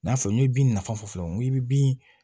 N y'a fɔ n ye bin nafa fɔ fɔlɔ n ko i bɛ bin